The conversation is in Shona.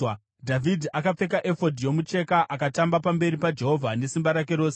Dhavhidhi, akapfeka efodhi yomucheka, akatamba pamberi paJehovha nesimba rake rose,